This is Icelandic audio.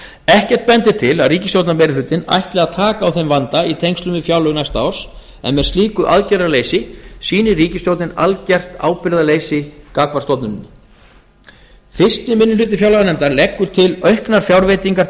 ekkert bendir til að ríkisstjórnarmeirihlutinn ætli að taka á þeim vanda í tengslum við fjárlög næsta árs en með slíku aðgerðarleysi sýnir ríkisstjórnin algert ábyrgðarleysi gagnvart stofnuninni fyrsti minni hluti fjárlaganefndar leggur til auknar fjárveitingar til